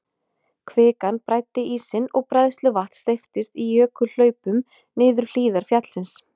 Kvikan bræddi ísinn og bræðsluvatn steyptist í jökulhlaupum niður hlíðar fjallsins.